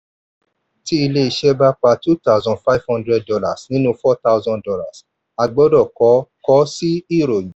tí ilé iṣẹ́ bá pa two thousand five hundred dollar nínú four thousand dollar a gbọ́dọ̀ kọ kọ sí ìròyìn.